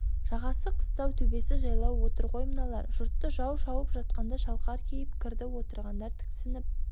жағасы қыстау төбесі жайлау отыр ғой мыналар жұртты жау шауып жатқанда шалқар кейіп кірді отырғандар тіксініп